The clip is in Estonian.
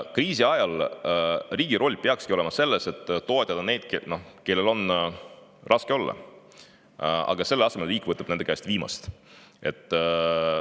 Kriisi ajal peaks riigi roll olema selles, et toetada neid, kellel on raske, aga selle asemel võtab riik nende käest viimast.